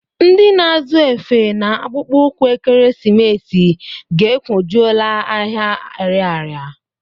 Ndị na-azụ efe na akpụkpọụkwụ ekeresimesi ga-ekwojuọla ahịa Arịarịa.